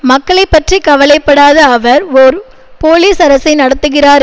மக்களைப்பற்றி கவலைப்படாத அவர் ஒர் போலீஸ் அரசை நடத்துகிறார்